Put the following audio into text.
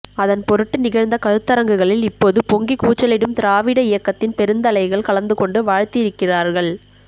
அதன்பொருட்டு நிகழ்ந்த கருத்தரங்குகளில் இப்போது பொங்கிக்கூச்சலிடும் திராவிட இயக்கத்தின் பெருந்தலைகள் கலந்துகொண்டு வாழ்த்தியிருக்கிறார்கள்